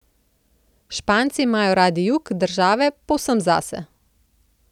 Španci imajo radi jug države povsem zase.